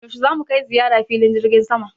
Yaushe za mu kai ziyara filin jirgin sama?